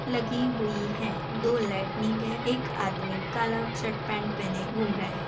लगी हुई हैं। दो लाइटनिंग है। एक आदमी काला शर्ट पैंट पहने घूम रहा है।